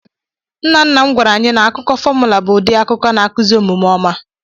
Nnanna m gwara anyị n'akụkọ fọmụla bụ ụdị akụkọ na-akụzi omume ọma.